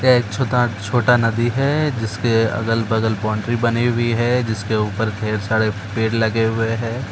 ये एक छोटा-छोटा नदी है जिसके अगल बगल बाउंड्री बनी हुई है। जिसके ऊपर ढेर सारे पेड़ लगे हुए हैं।